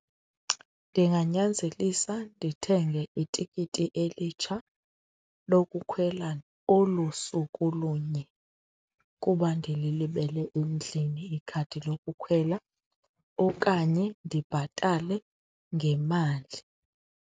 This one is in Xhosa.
Ndinganyanzelisela ndithenge itikiti elitsha lokukhwela olu suku lunye kuba ndililibele endlini ikhadi lokukhwela okanye ndibhatale ngemali.